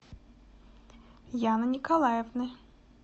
яны николаевны